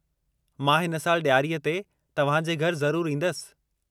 मां हिन साल ॾियारी ते तव्हांजे घरि ज़रूरु ईंदसि।